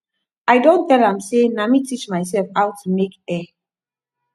i don tell am sey na me teach myself how to make hair